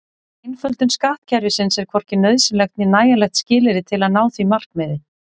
Einföldun skattkerfisins er hvorki nauðsynlegt né nægjanlegt skilyrði til að ná því markmiði.